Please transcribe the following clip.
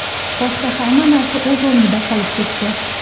Boshqa hamma narsa o‘z o‘rnida qolib ketdi.